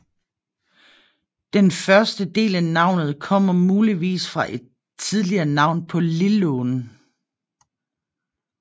Den første del af navnet kommer muligvis fra et tidligere navn på Lillån